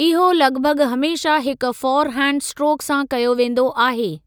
इहो लॻभॻ हमेशा हिक फ़ौर हैंड स्ट्रोक सां कयो वेंदो आहे।